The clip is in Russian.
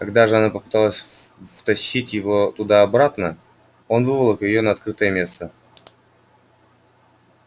когда же она попыталась втащить его туда обратно он выволок её на открытое место